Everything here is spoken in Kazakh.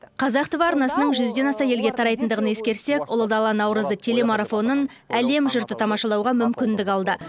қазақ тв арнасының жүзден аса елге тарайтындығын ескерсек ұлы дала наурызы телемарафонын әлем жұрты тамашалауға мүмкіндік алды